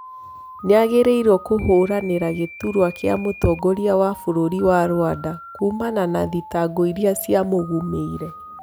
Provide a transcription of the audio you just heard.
Nĩ agiririo kũhũranĩ ra gĩ turwa gĩ a mũtongoria wa bũrũri wa Rwanda kumana na thitango iria ciamũgũmĩ ire.